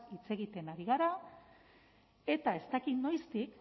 hitz egiten ari gara eta ez dakit noiztik